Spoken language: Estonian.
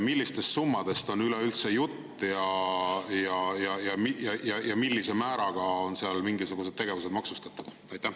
Millistest summadest on üleüldse jutt ja millise määraga on seal mingisugused tegevused maksustatud?